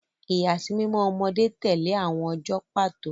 Ìyàsímímọ́ ọmọdé tẹ̀lé àwọn ọjọ́ pàtó.